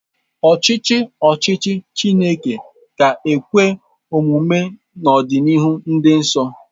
Ọchịchị ọchịchị Chineke ga-ekwe omume n'ọdịnihu dị nso.